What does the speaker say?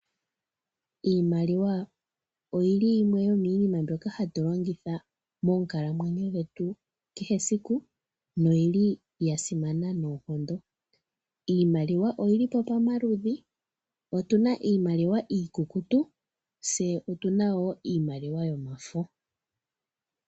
Iimaliwa oyili yimwe yomiinima mbyoka hatu longitha moonkalamwenyo dhetu dha kehe esiku noyili ya simana noonkondo. Iimaliwa oyili po pamaludhi, otuna iimaliwa iikukutu, tse otuna wo iimaliwa yomafo.